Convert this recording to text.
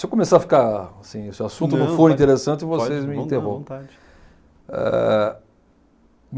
Se eu começar a ficar assim, se o assunto não for interessante, vocês me interrompam. Não, à vontade. Eh